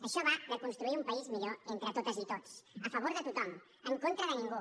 això va de construir un país millor entre totes i tots a favor de tothom en contra de ningú